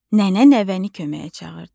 Nənə nəvəni köməyə çağırdı.